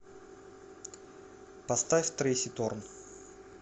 поставь трэйси торн